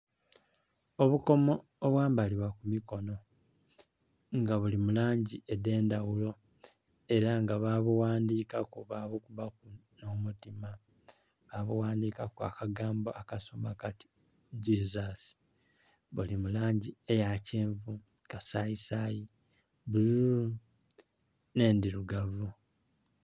Obukomo obwambalibwa ku mikono nga buli mu langi edh'endhaghulo, ela nga baabughandhikaku, baabukubaku omutima baabughandika akagambo akasoma kati "Jesus". Buli mu langi eya kyenvu, eya kasayisaayi, bbululu, nh'endhirugavu.